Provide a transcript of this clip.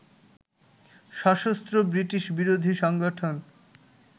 সশস্ত্র ব্রিটিশ বিরোধী সংগঠন